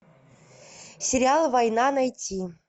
сериал война найти